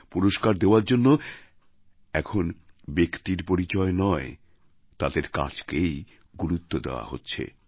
পুরষ্কার দেওয়ার জন্য এখন ব্যক্তির পরিচয় নয় তাদের কাজকেই গুরুত্ব দেওয়া হচ্ছে